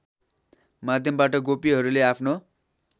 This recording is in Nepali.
माध्यमबाट गोपीहरूले आफ्नो